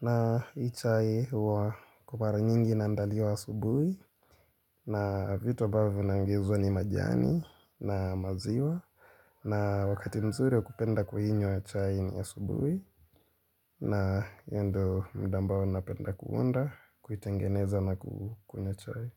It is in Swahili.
na hii chai huwa kwa mara nyingi na inandaliwa asubuhi na vitu ambavyo na ongezwa ni majani na maziwa na wakati mzuri kupenda kuinywa chai ni ya asubuhi na hiyo ndo muda ambao napenda kuunda, kuitengeneza na kukunywa chai.